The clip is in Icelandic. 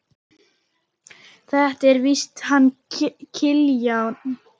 Þetta er víst hann Kiljan.